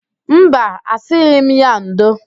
Mba, asịghị m ya ndo.